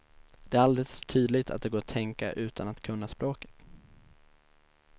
Det är alldeles tydligt att det går att tänka utan att kunna språket.